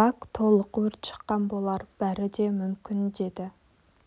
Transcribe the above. бак толық өрт шыққан болар бәрі де мүмкін деді